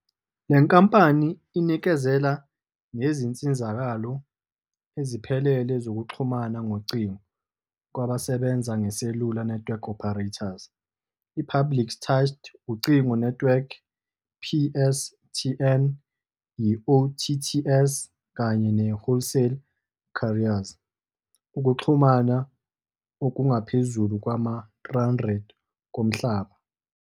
Le nkampani inikezela ngezinsizakalo eziphelele zokuxhumana ngocingo kwabasebenza ngeSelula Network Operators, i-Public Turnched Ucingo Networks, PSTN, i-OTTs, kanye ne-Wholesale Carriers ukuxhumana okungaphezulu kwama-300 komhlaba.